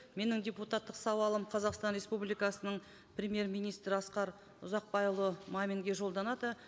менің депутаттық сауалым қазақстан республикасының премьер министрі асқар ұзақбайұлы маминге жолданады